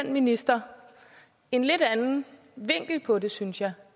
minister en lidt anden vinkel på det synes jeg